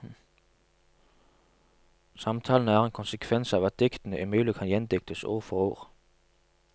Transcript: Samtalene er en konsekvens av at diktene umulig kan gjendiktes ord for ord.